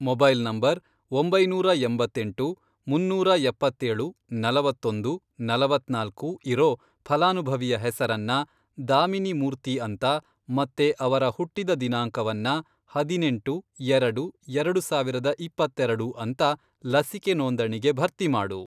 Mobile number, ಒಂಬೈನೂರಾ ಎಂಬತ್ತೆಂಟು, ಮುನ್ನೂರಾ ಎಪ್ಪತ್ತೇಳು, ನಲವತ್ತೊಂದು, ನಲವತ್ನಾಲ್ಕು, ಇರೋ ಫಲಾನುಭವಿಯ ಹೆಸರನ್ನ ದಾಮಿನಿ ಮೂರ್ತಿ ಅಂತ ಮತ್ತೆ ಅವರ ಹುಟ್ಟಿದ ದಿನಾಂಕವನ್ನ, ಹದಿನೆಂಟು, ಎರಡು, ಎರಡು ಸಾವಿರದ ಇಪ್ಪತ್ತೆರೆಡು, ಅಂತ ಲಸಿಕೆ ನೋಂದಣಿಗೆ ಭರ್ತಿ ಮಾಡು.